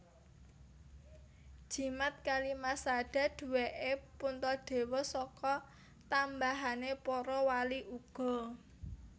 Jimat Kalimasada duwèké Puntadewa saka tambahané para wali uga